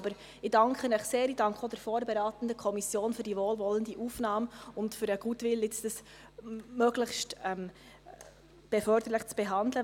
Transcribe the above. Ich danke Ihnen sehr, ich danke auch der vorberatenden Kommission für den Goodwill, dies jetzt möglichst förderlich zu behandeln.